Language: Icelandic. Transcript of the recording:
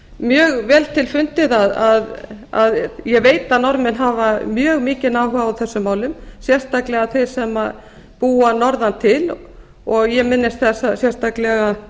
sé mjög vel til fundið að ég veit að norðmenn hafa mjög mikinn áhuga á þessum málum sérstaklega þeir sem búa norðan til ég minnist þess sérstaklega